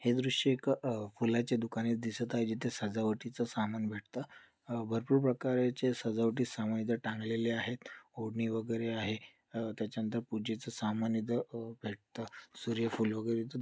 हे दृश्य एक अह फुलाचे दुकाने दिसत आहे जिथ सजावटीच सामान भेटत अह भरपूर प्रकारचे सजवटी सामान इथे टांगलेले आहेत ओढणी वगैरे आहे अह त्याच्यानंतर पूजेच सामान इथं अह भेटतं सूर्यफूल वगैरे इथून--